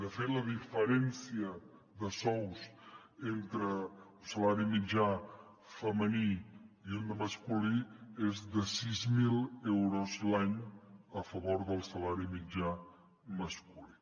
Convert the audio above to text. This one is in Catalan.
de fet la diferència de sous entre un salari mitjà femení i un de masculí és de sis mil euros l’any a favor del salari mitjà masculí